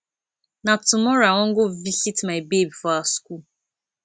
na tomorrow i wan go visit my babe for her skool